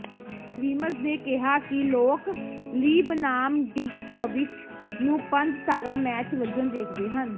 Grimes ਨੇ ਕਿਹਾ ਕਿ ਲੋਕ ਲੀ ਬਨਾਮ ਡਿਜਕੋਵਿਚ ਨੂੰ ਪੰਜ ਤਾਰਾ ਮੈਚ ਵਜੋਂ ਵੇਖਦੇ ਹਨ